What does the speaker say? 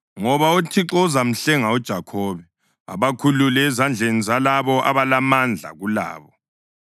Ngoba uThixo uzamhlenga uJakhobe, abakhulule ezandleni zalabo abalamandla kulabo.